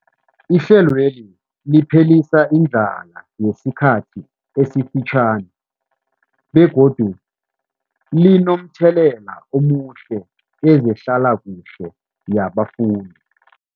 Ihlelweli liphelisa indlala yesikhathi esifitjhani begodu linomthelela omuhle kezehlalakuhle yabafundi.